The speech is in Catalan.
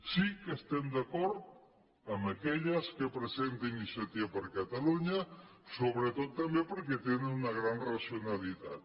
sí que estem d’acord amb aquelles que presenta iniciativa per catalunya sobretot també per·què tenen una gran racionalitat